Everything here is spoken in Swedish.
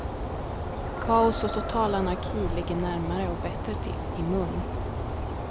Kaos och total anarki ligger närmare och bättre till i mun.